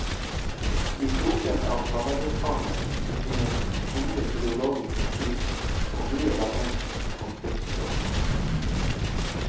I floken av samarbeidspartnere finnes store ideologiske sprik og mye latent konfliktstoff.